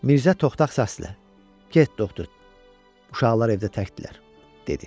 Mirzə toxtaq səslə: "Get, doktor. Uşaqlar evdə təkdirlər," dedi.